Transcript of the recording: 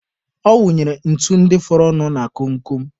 Ọ wụnyere ntu ndị fọrọ nụ na kom kom.